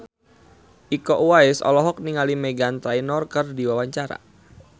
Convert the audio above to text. Iko Uwais olohok ningali Meghan Trainor keur diwawancara